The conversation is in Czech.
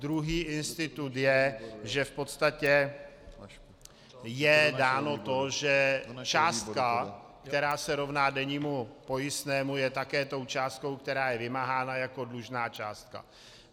Druhý institut je, že v podstatě je dáno to, že částka, která se rovná dennímu pojistnému, je také tou částkou, která je vymáhána jako dlužná částka.